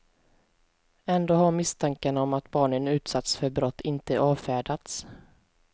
Ändå har misstankarna om att barnen utsatts för brott inte avfärdats.